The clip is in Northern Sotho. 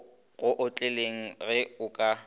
go otleleng ge a ka